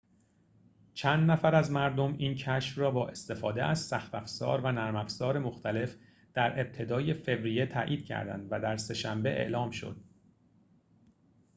چند نفر از مردم این کشف را با استفاده از سخت‌افزار و نرم‌افزار مختلف در ابتدای فوریه تأیید کردند و در سه‌شنبه اعلام شد